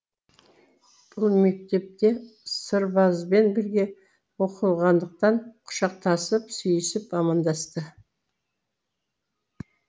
бұл мектепте сырбазбен бірге оқығандықтан құшақтасып сүйісіп амандасты